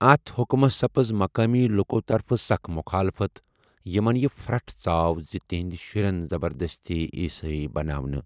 اتھ حٗكمس سپٕز مقٲمی لُك٘و طرفہٕ سخ مٗخالفت یمن یہِ پھر٘ٹھ ژاو زِ تِہندِ شٗرِ یِن زبردستی عیسٲیی بناونہٕ ۔